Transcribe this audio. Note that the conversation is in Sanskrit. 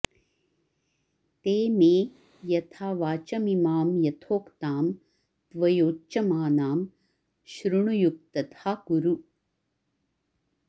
ते मे यथा वाचमिमां यथोक्तां त्वयोच्यमानां श्रृणुयुक्तथा कुरु